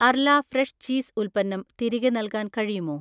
അർല fresh cheese ഉൽപ്പന്നം തിരികെ നൽകാൻ കഴിയുമോ